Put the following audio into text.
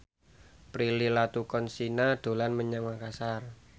Prilly Latuconsina dolan menyang Makasar